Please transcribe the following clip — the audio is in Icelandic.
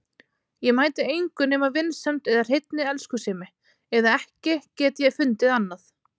Ég mæti engu nema vinsemd eða hreinni elskusemi, eða ekki get ég fundið annað.